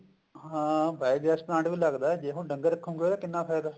ਹਾਂ biogas plant ਵੀ ਲੱਗਦਾ ਜੇ ਹੁਣ ਡੰਗਰ ਰੱਖੋੰਗੇ ਉਹਦਾ ਕਿੰਨਾ ਫਾਇਦਾ